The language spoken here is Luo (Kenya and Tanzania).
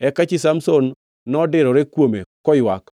Eka chi Samson nodirore kuome, koywak,